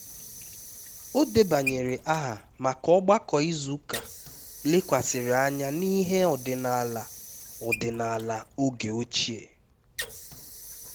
o debanyere aha maka ogbako izu ụka lekwasịrị anya n'ihe ọdịnala ọdịnala oge ochie